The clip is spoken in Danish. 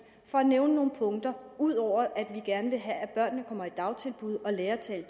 for at nævne nogle punkter ud over at vi gerne vil have at børnene kommer i dagtilbud og lærer at tale